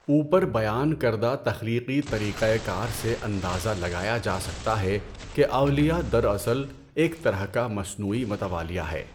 اوپر بیان کردہ تخلیقی طریقۂ کار سے اندازہ لگایا جا سکتا ہے کہ اولیہ دراصل ایک طرح کا مصنوعی متوالیہ ہے۔